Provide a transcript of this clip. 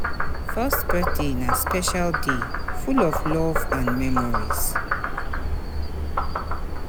First birthday na special day full of love and memories.